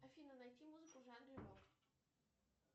афина найти музыку в жанре рок